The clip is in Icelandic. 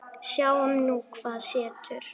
Sjáum nú hvað setur.